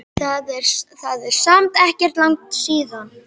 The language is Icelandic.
Það er samt ekkert langt síðan.